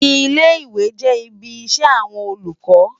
Ilé-Iwé jè ibi iṣè áwòn Ólúkò